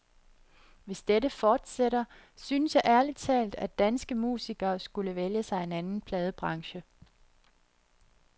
Hvis dette fortsætter, synes jeg ærlig talt, at danske musikere skulle vælge sig en anden pladebranche.